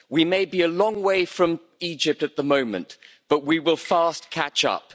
We may be a long way from Egypt at the moment, but we will fast catch up.